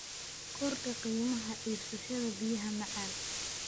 Kordhi qiimaha iibsashada biyaha macaan.